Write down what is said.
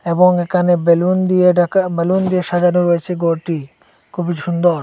এবং একানে বেলুন দিয়ে ঢাকা বেলুন দিয়ে সাজানো রয়েছে গরটি খুবই সুন্দর।